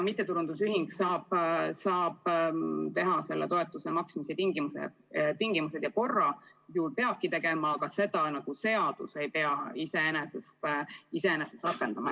Mittetulundusühing saab kehtestada toetuse maksmise tingimused ja korra – ta peabki seda tegema –, aga seda korda seadus ei pea rakendama.